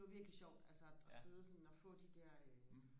det var virkelig sjovt altså og sidde sådan og få de der øh